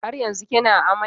Har yanzu kina amai?